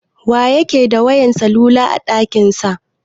Wa yake da wayan salula a ɗakin sa?